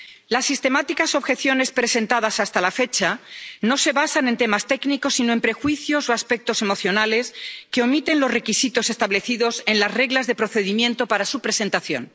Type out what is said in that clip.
Las sistemáticas objeciones presentadas hasta la fecha no se basan en temas técnicos sino en prejuicios o aspectos emocionales, que omiten los requisitos establecidos en las reglas de procedimiento para su presentación.